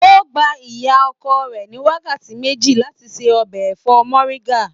O gbà ìyá ọkọ rẹ ní wákàtí méjì láti ṣe ọbẹ ẹfọ moringa.